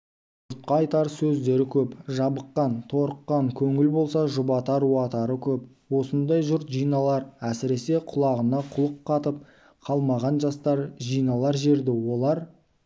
жұртқа айтар сөздері көп жабыққан торыққан көңіл болса жұбатары уатары көп осындай жұрт жиналар әсіресе құлағына құлық қатып қалмаған жастар жиналар жерді олар